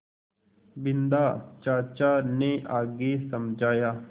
बिन्दा चाचा ने आगे समझाया